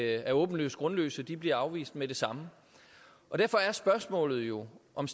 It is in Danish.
er åbenlyst grundløse de bliver afvist med det samme derfor er spørgsmålet jo om